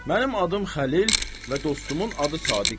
Mənim adım Xəlil və dostumun adı Sadiqdir.